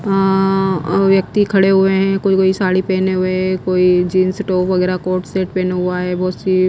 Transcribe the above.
अं अह व्यक्ति खड़े हुए हैं कोई कोई साड़ी पहने हुए कोई जींस टॉप वगैरह कोर्ट सेट पहने हुआ है बहुत सी--